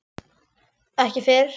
Ekki fyrr?